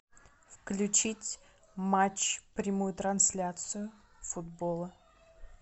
включить матч прямую трансляцию футбола